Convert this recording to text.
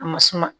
A ma suma